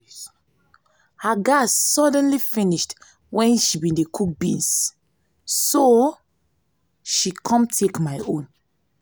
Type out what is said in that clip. her gas suddenly finish wen she go dey cook beans so she come take my own